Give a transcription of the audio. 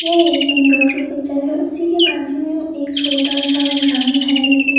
यह एक main road की पिक्चर है उसी के बाजु में एक छोटा सा ग्राउंड है जिसमे--